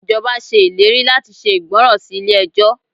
Ìjọba ṣe ìlérí láti ṣe ìgbọràn sí ilé ẹjọ́.